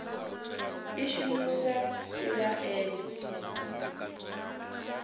i shumiwa nga ḓuvha ḽene